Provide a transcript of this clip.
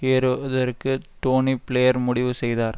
ஏறுவதற்கு டோனி பிளேயர் முடிவு செய்தார்